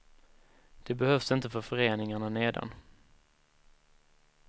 Det behövs inte för föreningarna nedan.